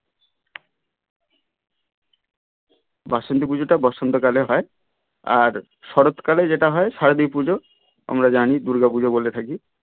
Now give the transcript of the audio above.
বাসন্তী পুজোটা বসন্ত কালেই হয় আর শরৎ কালে যেটা হয় শারদীপুজো আমরা জানি দূর্গা পুজো বলে থাকি.